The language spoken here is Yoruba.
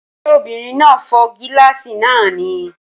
Ṣé obìnrin náà fọ́ gíláàsì náà ni?